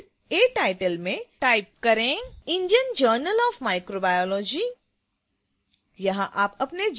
field a title में type indian journal of microbiology